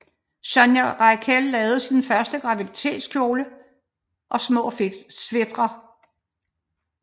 Sonia Rykiel lavede sin første graviditetskjole og små sweatre